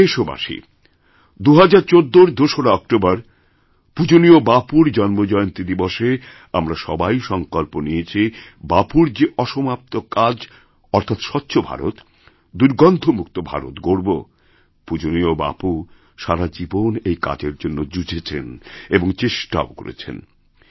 প্রিয় দেশবাসী ২০১৪র ২রা অক্টোবর পূজনীয় বাপুর জন্মজয়ন্তীদিবসে আমরা সবাই সংকল্প নিয়েছি বাপুর যে অসমাপ্ত কাজ অর্থাৎ স্বচ্ছ ভারতদুর্গন্ধমুক্ত ভারত গড়ব পূজনীয় বাপু সারা জীবন এই কাজের জন্য যুঝেছেন এবং চেষ্টাওকরতেন